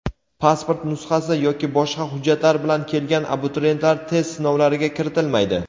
Pasport nusxasi yoki boshqa hujjatlar bilan kelgan abituriyentlar test sinovlariga kiritilmaydi.